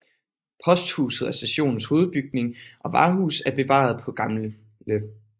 Posthuset og stationens hovedbygning og varehus er bevaret på Gl